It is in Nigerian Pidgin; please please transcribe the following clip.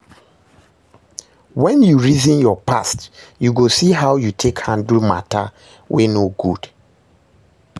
wen yu reason yur past yu go see how yu take handle mata wey no good